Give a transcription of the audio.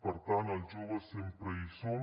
per tant els joves sempre hi som